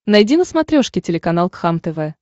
найди на смотрешке телеканал кхлм тв